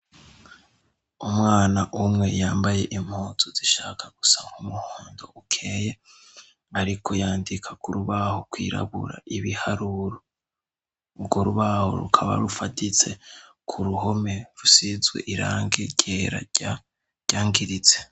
Umwana umwe yambaye impuzu zishaka gusa nk'umuhondo ukeye, ariko yandika ku rubaho rwirabura ibiharuru urwo rubaho rukaba rufaditse ku ruhome rusizwe irange ryera ryangiritse.